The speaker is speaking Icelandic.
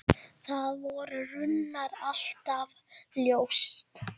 Það var raunar alltaf ljóst.